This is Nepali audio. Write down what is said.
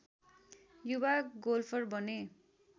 युवा गोल्फर बने